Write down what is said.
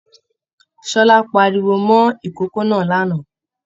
Ṣọlá páríwó mọ ikòkò náà l'ana.